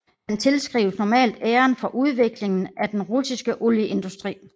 Han tilskrives normalt æren for udviklingen af den russiske olieindustri